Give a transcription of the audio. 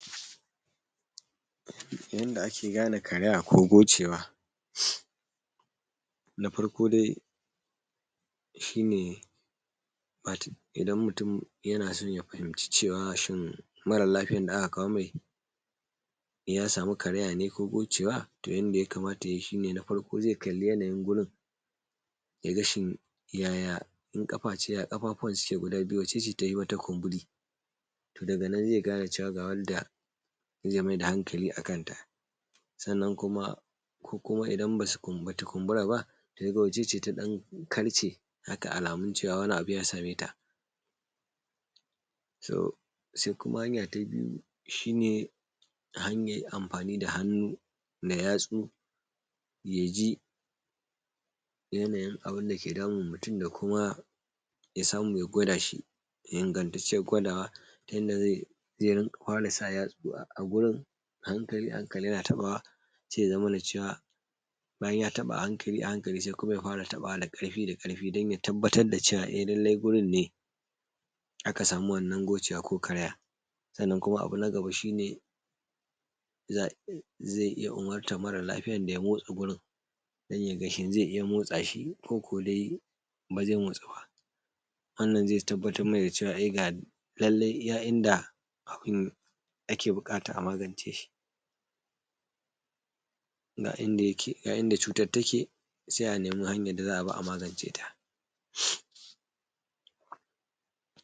Yanda ake gane karaya ko gocewa. Na farko de shine wato idan mutum yanaso ya fahimci cewa shin, mara lafiyan da aka kawo mai ya samu karayane ko gocewa. To yanda yakamata yayi shine na farko zai kalli yanayin gurin, yaga shin yaya in kaface, yaga kafafuwan guda biyu waccece tafi wata kumburi. To daga nan zai gane cewa ga wanda ze meda hankali akanta. Sannan kuma ko kuma idan basu bata kunburaba, yaga waccece taɗan kalce haka alamun cewa wani abu ya sameta. So se kuma hanya ta biyu, shine hanyar amfani da hannu me yatsu yaji yanayin abunda ke damun mutum. Da kuma ya samu ya gwadashi, ingantaccen gwadawa. Inda ze ze rinƙa fara sa yatsu a gurin ahankali ahankali yana tabawa se ya zamana cewa, bayan ya taba ahankali ahankali sai kuma yafara tabawa da karfi da karfi dan ya tabbatar da cewa a lallai wurin ne. Aka samu wannan gocewa ko karaya. Sannan kuma abu nagaba shine, za zai iya umurtar mara lafiyar da ya motsa gurin don yaga shin zai iya motsashi. koko de ba zai motsuba. Wannan zai tabbatar mana dacewa a lallai ga iya inda abun ake bukata a magance shi Ga inda yake ga inda cutar take se anemi hanyar da za’abi a maganceta.